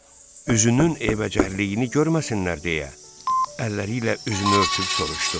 Üzünün eybəcərliyini görməsinlər deyə əlləri ilə üzünü örtüb soruşdu: